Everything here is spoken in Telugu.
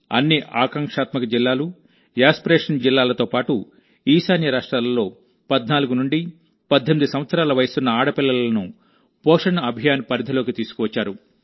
అన్ని ఆకాంక్షాత్మక జిల్లాలు యాస్పిరేషన్ జిల్లాలతో పాటు ఈశాన్య రాష్ట్రాలలో14 నుండి 18 సంవత్సరాల వయస్సున్న ఆడపిల్లలను పోషణ్ అభియాన్ పరిధిలోకి తీసుకువచ్చారు